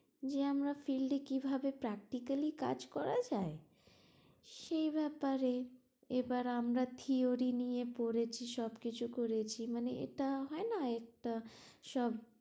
যে আমরা field কি ভাবে practically কাজ করা যায় সেই ব্যাপারে, এবার আমরা theory নিয়ে পড়েছি সব কিছু করেছি, মানে এটা হয় না একটা সব